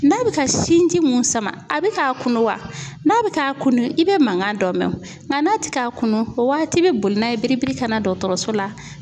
N'a bi ka sin ji mun sama, a bi ka kunu wa ,n'a be ka kunna i be mankan dɔ mɛn wo. Nga n'a ti ka kunun o waati i be boli n'a ye biribiri ka na dɔgɔtɔrɔso la.